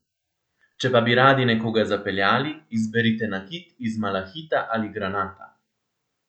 Če pa bi radi nekoga zapeljali, izberite nakit iz malahita ali granata.